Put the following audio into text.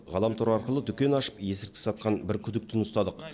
ғаламтор арқылы дүкен ашып есірткі сатқан бір күдіктіні ұстадық